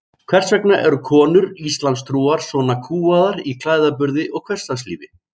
Hvers vegna eru konur íslamstrúar svona kúgaðar í klæðaburði og hversdagslífi?